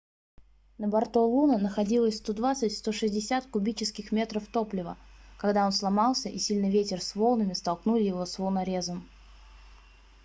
на борту луно находилось 120-160 кубических метров топлива когда он сломался и сильный ветер c волнами столкнули его с волнорезом